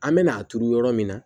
An bɛ n'a turu yɔrɔ min na